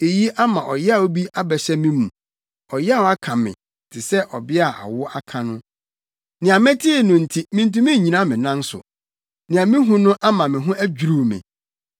Eyi ama ɔyaw bi abɛhyɛ me mu, ɔyaw aka me, te sɛ ɔbea a awo aka no; nea metee no nti mintumi nnyina me nan so, nea mihu no ama me ho adwiriw me.